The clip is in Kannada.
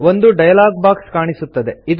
ಒಂದು ಡಯಲಾಗ್ ಬಾಕ್ಸ್ ಕಾಣಿಸುತ್ತದೆ